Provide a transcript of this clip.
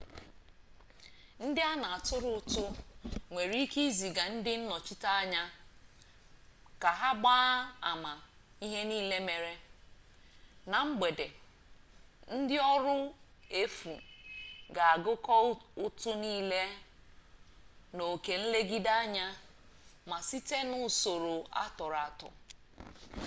ndị a na atụrụ ụtụ nwere ike iziga ndị nnọchiteanya ka ha gbaa ama ihe nile mere. na mgbede ndị ọrụ efu ga agụkọ ụtụ nile na oke nlegideanya ma site n'usoro atọrọ atọ